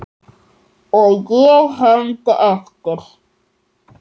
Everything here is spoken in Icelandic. Og ég hermdi eftir.